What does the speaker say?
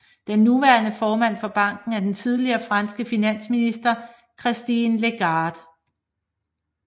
Den nuværende formand for banken er den tidligere franske finansminister Christine Lagarde